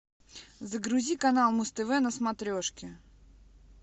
загрузи канал муз тв на смотрешке